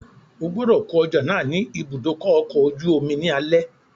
Ogbọ́dọ̀ kó ọjà náà ni ìbúdókọ̀ ọ̀kọ̀ ojú omi ní alẹ́